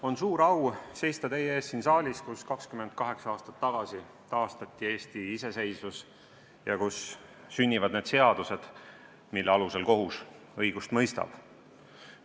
On suur au seista teie ees siin saalis, kus 28 aastat tagasi taastati Eesti iseseisvus ja kus sünnivad seadused, mille alusel kohus õigust mõistab.